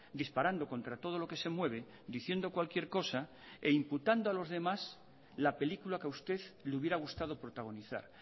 disparando contra todo lo que se mueve diciendo cualquier cosa e incitando a los demás la película que a usted le hubiera gustado protagonizar